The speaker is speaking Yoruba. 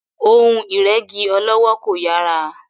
Ohun ìrẹ́gí ọlọ́wọ́ kò yàrá.